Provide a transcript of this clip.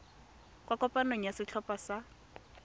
kwa kopanong ya setlhopha sa